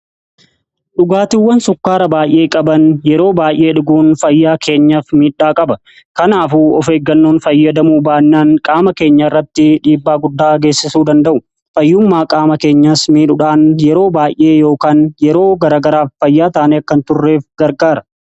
dhugaatiwwan sukkaara baay'ee qaban yeroo baay'ee dhuguun fayyaa keenyaaf miidhaa qaba kanaafuu of eeggannoon fayyadamuu baannaan qaama keenya irratti dhiibbaa guddaa geessisuu danda'u. fayyummaa qaama keenyas miidhuudhaan yeroo baay'ee yookaan yeroo garagaraaf fayyaa taanee akkan turreef gargaara.